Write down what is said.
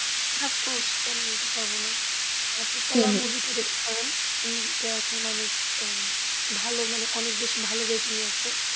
Ofcourse, কেন বলতে পারবোনা আপনি কালা movie টা দেখতে পারেন, এই movie টা এখন অনেক আহ উম ভালো মানে অনেক বেশি rating এ আসে,